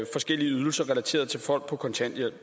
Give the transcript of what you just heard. forskellige ydelser relateret til folk på kontanthjælp